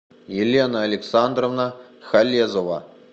елена александровна халезова